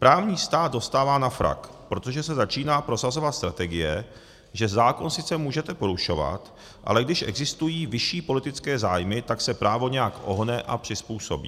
Právní stát dostává na frak, protože se začíná prosazovat strategie, že zákon sice můžete porušovat, ale když existují vyšší politické zájmy, tak se právo nějak ohne a přizpůsobí.